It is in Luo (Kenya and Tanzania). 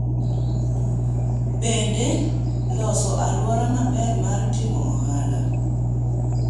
bende , loso aluora maber mar timo ohala